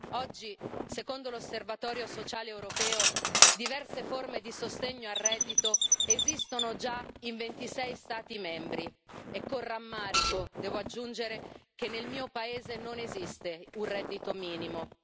Oggi, secondo l'Osservatorio sociale europeo, diverse forme di sostegno al reddito esistono già in 26 Stati membri, e con rammarico devo aggiungere che nel mio paese non esiste un reddito minimo.